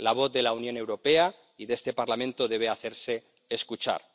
La voz de la Unión Europea y de este Parlamento debe hacerse escuchar.